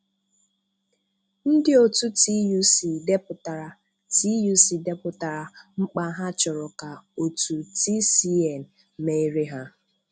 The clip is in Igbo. Ndị otu TUC depụtara TUC depụtara mkpa ha chọrọ ka otu TCN mere ha.